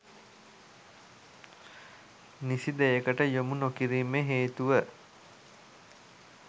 නිසි දෙයකට යොමු නොකිරීමේ හේතුව